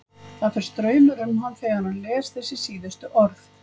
Það fer straumur um hann þegar hann les þessi síðustu orð.